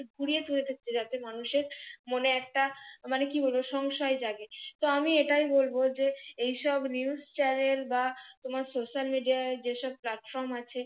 কুড়িয়ে কুড়িয়ে ধরতে যাচ্ছে মানুষের মনে একটা কি বলব সংশয় জাগেতো আমি এটাই বলব যে এই সব নি news channel বা তোমার social media যে সব কাজ কাম আছে।